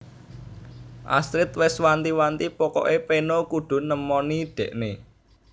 Astrid wes wanti wanti pokok e peno kudu nemoni dekne